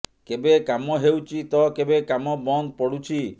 କେବେ କାମ ହେଉଛି ତ କେବେ କାମ ବନ୍ଦ ପଡୁଛି